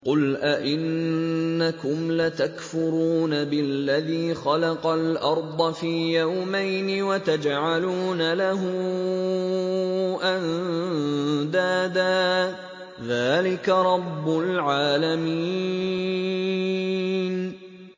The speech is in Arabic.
۞ قُلْ أَئِنَّكُمْ لَتَكْفُرُونَ بِالَّذِي خَلَقَ الْأَرْضَ فِي يَوْمَيْنِ وَتَجْعَلُونَ لَهُ أَندَادًا ۚ ذَٰلِكَ رَبُّ الْعَالَمِينَ